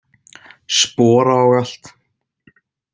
Spora og allt.